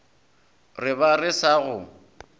re ba re sa go